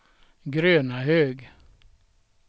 Grönahög